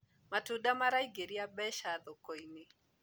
matunda maraingiria mbeca thoko-inĩ